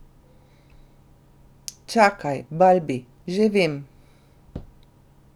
Čakaj, Balbi, že vem!